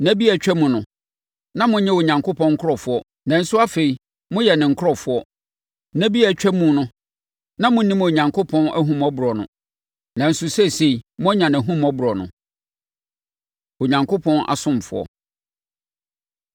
Nna bi a atwam no, na monyɛ Onyankopɔn nkurɔfoɔ nanso afei, moyɛ ne nkurɔfoɔ; nna bi a atwam no na monnim Onyankopɔn ahummɔborɔ no, nanso seesei, moanya nʼahummɔborɔ no. Onyankopɔn Asomfoɔ